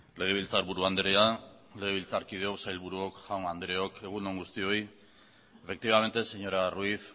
legebiltzarburu andrea legebiltzarkideok sailburuok jaun andreok egun on guztioi efectivamente señora ruiz